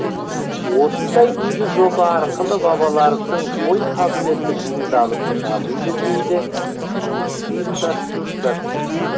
осындай игі жоба арқылы балалардың ой қабілеті шыңдалып дамиды дейді ұйымдастырушылар